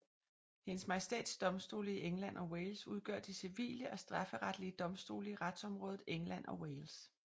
Hendes Majestæts Domstole i England og Wales udgør de civile og strafferetlige domstole i retsområdet England og Wales